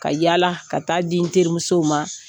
Ka yala ka taa'di n terimusow ma.